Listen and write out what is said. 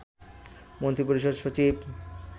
মন্ত্রিপরিষদ সচিব